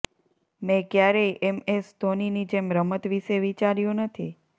મેં ક્યારેય એમએસ ધોનીની જેમ રમત વિશે વિચાર્યુ નથી